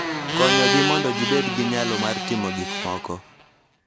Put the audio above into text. Konyogi mondo gibed gi nyalo mar timo gik moko .